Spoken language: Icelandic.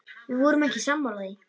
Við vorum ekki sammála því.